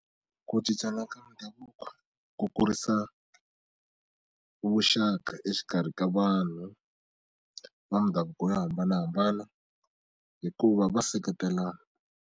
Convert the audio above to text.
Ku cincana ka mindhavuko ku kurisa vuxaka exikarhi ka vanhu va mindhavuko yo hambanahambana hikuva va seketelana.